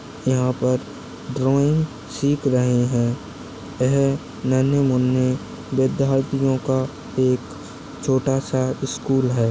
यहाँ पर ड्राइंग सिख रहे है। ये नन्हे मुन्हे विद्यार्थियों एक छोटा सा स्कूल है।